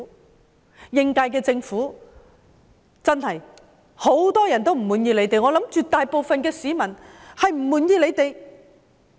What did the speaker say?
對於應屆政府，真是很多人都不滿意，相信絕大部分市民都不滿意。